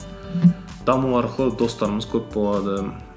даму арқылы достарымыз көп болады